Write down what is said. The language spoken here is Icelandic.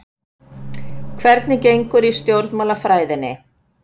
Hvernig gengur í stjórnmálafræðinni?